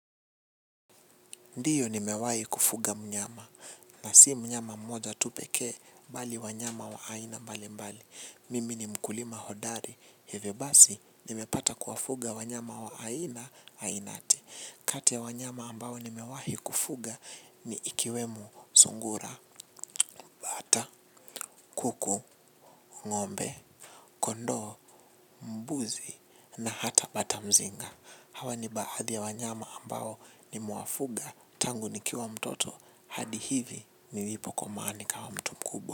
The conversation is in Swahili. Ndiyo nimewahi kufuga mnyama na si mnyama mmoja tu pekee bali wanyama wa aina mbali mbali mimi ni mkulima hodari hivyo basi nimepata kuwafuga wanyama wa aina ainati kati ya wanyama ambao nimewahi kufuga ni ikiwemo sungura, bata, kuku ngombe kondoo mbuzi na hata batamzinga hawa ni baadhi ya wanyama ambao nimewafuga. Tangu nikiwa mtoto hadi hivi nilipokomaa nikawa mtu kubwa.